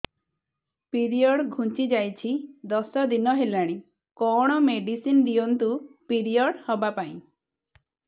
period ଘୁଞ୍ଚି ଯାଇଛି ଦଶ ଦିନ ହେଲାଣି କଅଣ ମେଡିସିନ ଦିଅନ୍ତୁ ପିରିଅଡ଼ ହଵା ପାଈଁ